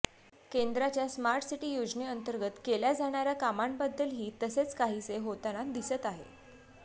केंद्राच्या smart city योजनेअंतर्गत केल्या जाणाऱ्या कामांबद्दलही तसेच काहीसे होताना दिसत आहे